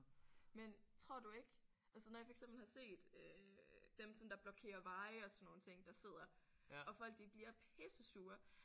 Men tror du ikke altså når jeg for eksempel har set øh dem som der blokerer veje og sådan nogle ting der sidder og folk de bliver pissesure